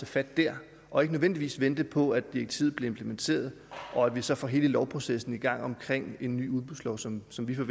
fat dér og ikke nødvendigvis vente på at direktivet bliver implementeret og at vi så får hele lovprocessen i gang omkring en ny udbudslov som som vi